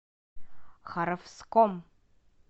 харовском